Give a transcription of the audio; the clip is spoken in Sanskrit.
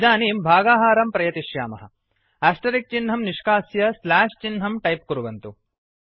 इदानीं भागाहारं प्रयतिष्यामः आस्टरिक् चिह्नं निष्कास्य स्ल्याश् चिह्नं टैप् कुर्वन्तु